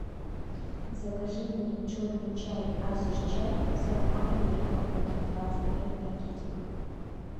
закажи мне черный чай азерчай с ароматом бергамота двадцать пять пакетиков